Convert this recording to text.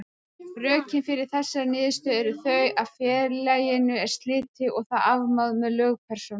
Rökin fyrir þessari niðurstöðu eru þau að félaginu er slitið og það afmáð sem lögpersóna.